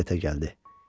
Heyrətə gəldi.